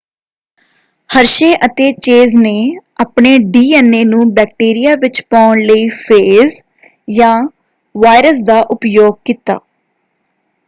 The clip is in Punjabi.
ਹਰਸ਼ੇ ਅਤੇ ਚੇਜ਼ ਨੇ ਆਪਣੇ ਡੀਐਨਏ ਨੂੰ ਬੈਕਟੀਰੀਆ ਵਿੱਚ ਪਾਉਣ ਲਈ ਫੇਜ਼ ਜਾਂ ਵਾਇਰਸ ਦਾ ਉਪਯੋਗ ਕੀਤਾ।